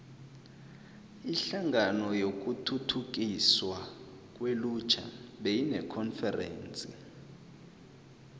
inhlangano yokuthuthukiswa kwelutjha beyinekonferense